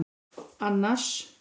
Annas